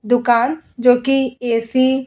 दुकान जोकि ए.सी. --